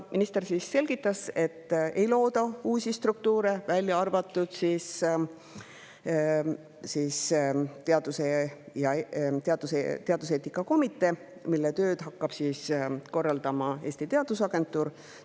Minister siis selgitas, et ei looda uusi struktuure, välja arvatud teaduseetika komitee, mille tööd hakkab korraldama Eesti Teadusagentuur.